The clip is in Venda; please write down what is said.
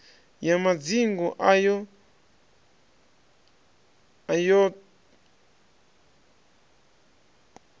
ya madzingu ayo t hod